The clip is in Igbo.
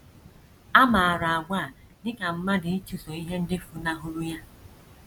A maara àgwà a dị ka mmadụ ịchụso ihe ndị funahụrụ ya.